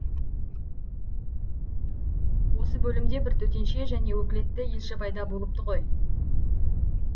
осы бөлімде бір төтенше және өкілетті елші пайда болыпты ғой